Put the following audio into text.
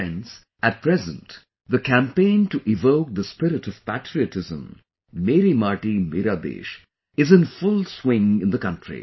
Friends, At present, the campaign to evoke the spirit of patriotism 'Meri Mati, Mera Desh' is in full swing in the country